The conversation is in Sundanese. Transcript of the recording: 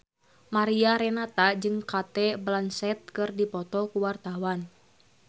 Mariana Renata jeung Cate Blanchett keur dipoto ku wartawan